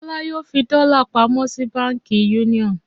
Ṣọlá yóò fi dọ́là pamọ́ sí Báńkì Union.